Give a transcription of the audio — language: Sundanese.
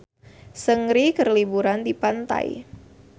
Seungri keur liburan di pantai